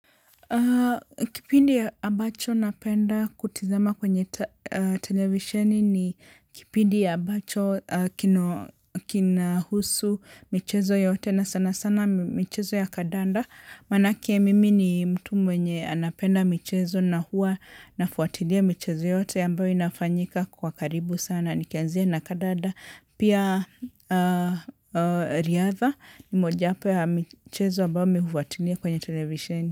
Kipindi ya ambacho napenda kutizama kwenye televisheni ni kipindi ambacho kinahusu michezo yote na sana sana michezo ya kadanda. Manake mimi ni mtu mwenye anapenda michezo na hua nafuatilia michezo yote ambayo inafanyika kwa karibu sana. Nikianzia na kadanda pia riatha ni moja wapo ya michezo ambayo mimi hufuatilia kwenye televisheni.